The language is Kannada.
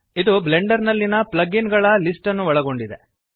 ಇದು ಬ್ಲೆಂಡರ್ ನಲ್ಲಿಯ ಪ್ಲಗ್ ಇನ್ ಗಳ ಲಿಸ್ಟನ್ನು ಒಳಗೊಂಡಿದೆ